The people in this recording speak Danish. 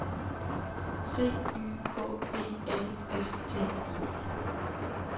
C Y K E L S T I